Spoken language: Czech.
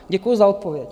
Děkuju za odpověď.